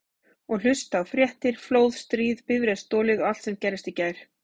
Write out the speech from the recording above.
Og hlusta á fréttir: flóð, stríð, bifreið stolið allt sem gerðist í gær.